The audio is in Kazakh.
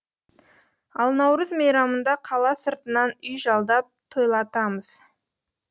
ал наурыз мейрамында қала сыртынан үй жалдап тойлатамыз